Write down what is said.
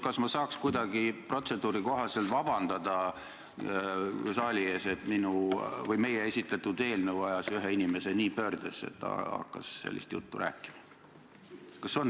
Kas ma saaks kuidagi protseduuri kohaselt paluda saalilt vabandust, et meie esitatud eelnõu ajas ühe inimese nii pöördesse, et ta hakkas sellist juttu rääkima?